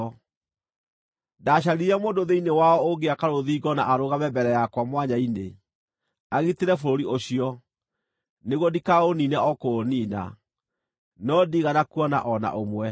“Ndaacaririe mũndũ thĩinĩ wao ũngĩaka rũthingo na arũgame mbere yakwa mwanya-inĩ, agitĩre bũrũri ũcio, nĩguo ndikaũniine o kũũniina, no ndiigana kuona o na ũmwe.